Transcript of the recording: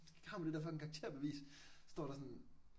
Har man det der fucking karakterbevis, står der sådan